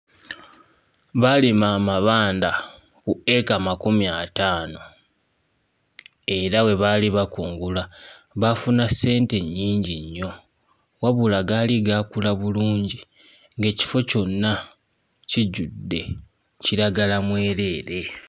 Baalima amabanda ku eka makumi ataano era bwe baali bakungula baafuna ssente nnyingi nnyo wabula gaali gaakula bulungi ng'ekifo kyonna kijjudde kiragala mwereere.